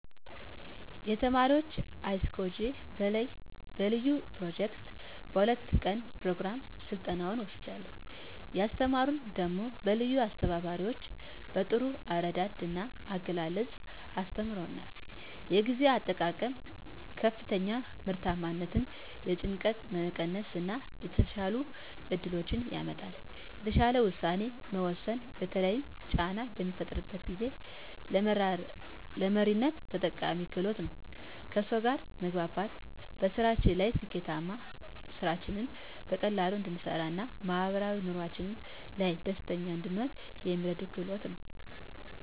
የተማረኩት icog በለዩ ኘሮጀክት በ2 ቀን ኘሮግራም ስልጠናዉን ወስጃለሁ። ያስተማሩን ደሞ በለዩ አስተባባሪዎች በጥሩ አረዳድ ና አገላለፅ አስተምረዉናል። የጊዜ አጠቃቀም ከፍተኛ ምርታማነትን፣ የጭንቀት መቀነስ እና የተሻሉ እድሎችን ያመጣል። የተሻለ ዉሳኔ መወሰን በተለይም ጫና በሚፈጠርበት ጊዜ፣ ለመሪነት ጠቃሚ ክህሎት ነዉ። ከሰዉ ጋር መግባባት በስራችን ላይ ስኬታማ፣ ስራችንን በቀላሉ እንድንሰራ ና ማህበራዊ ኑሮአችን ላይ ደስተኛ እንድንሆን የሚረዳን ክህሎት ነዉ።